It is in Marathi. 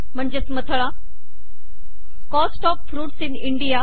मथळा cost of fruits in India